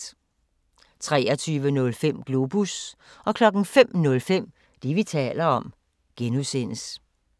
23:05: Globus 05:05: Det, vi taler om (G)